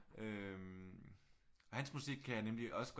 Øh og hans musik kan jeg nemlig også godt